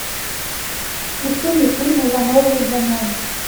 включи мне фильм ивановы ивановы